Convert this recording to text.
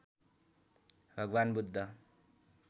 भगवान् बुद्ध